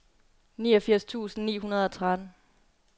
niogfirs tusind ni hundrede og tretten